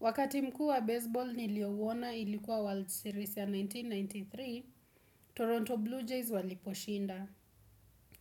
Wakati mkuu wa baseball niliowona ilikuwa World Series ya elfu moja na mia tisa na tisini na tatu, Toronto Blue Jays waliposhinda.